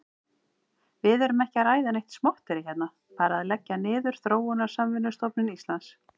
Við erum ekki að ræða neitt smotterí hérna, bara að leggja niður Þróunarsamvinnustofnun Íslands.